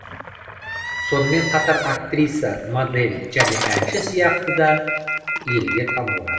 сонымен қатар актриса модель және әнші сияқты да елге танылған